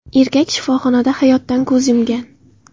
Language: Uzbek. Erkak shifoxonada hayotdan ko‘z yumgan.